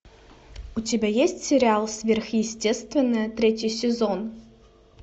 у тебя есть сериал сверхъестественное третий сезон